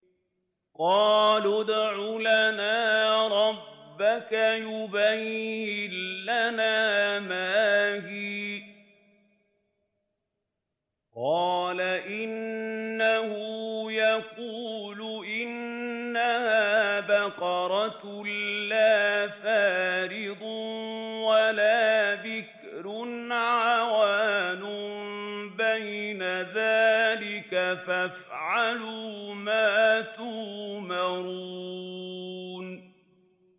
قَالُوا ادْعُ لَنَا رَبَّكَ يُبَيِّن لَّنَا مَا هِيَ ۚ قَالَ إِنَّهُ يَقُولُ إِنَّهَا بَقَرَةٌ لَّا فَارِضٌ وَلَا بِكْرٌ عَوَانٌ بَيْنَ ذَٰلِكَ ۖ فَافْعَلُوا مَا تُؤْمَرُونَ